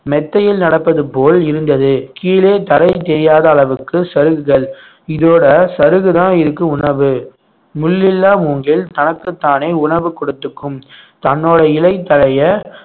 மெத்தையில் நடப்பது போல் இருந்தது கீழே தரை தெரியாத அளவுக்கு சருகுகள் இதோட சருகுதான் இதுக்கு உணவு முள் இல்லா மூங்கில் தனக்குத்தானே உணவு கொடுத்துக்கும் தன்னோட இலை தழையை